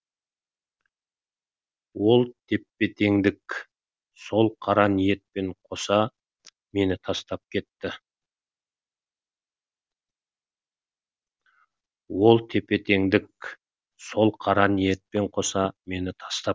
ол тепе теңдік сол қара ниетпен қоса мені тастап кетті